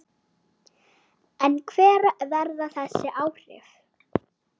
En hver verða þessi áhrif?